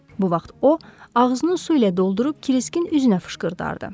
Bu vaxt o ağzını su ilə doldurub Kriskin üzünə fışqırdardı.